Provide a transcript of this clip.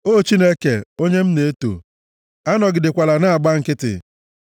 O Chineke, onye m na-eto, anọgidekwala na-agba nkịtị,